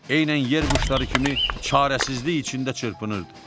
Eynən yer quşları kimi çarəsizlik içində çırpınırdı.